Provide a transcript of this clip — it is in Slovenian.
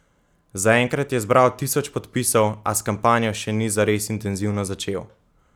Zaenkrat je zbral tisoč podpisov, a s kampanjo še ni zares intenzivno začel.